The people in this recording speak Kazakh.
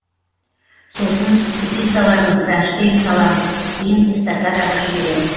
сосын ступицаларын кронштейн саламыз кейін эстакадаға жібереміз